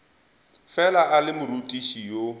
fela a le morutiši yo